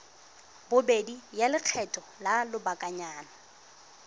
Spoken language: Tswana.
bobedi ya lekgetho la lobakanyana